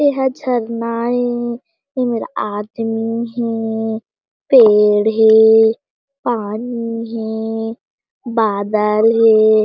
एहा झरना ए एमेर आदमी हे पेड़ हे पानी हे बादल हे।